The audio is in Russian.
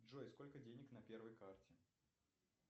джой сколько денег на первой карте